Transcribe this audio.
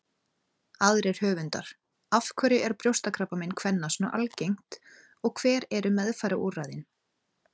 Aðrir höfundar: Af hverju er brjóstakrabbamein kvenna svona algengt og hver eru meðferðarúrræðin?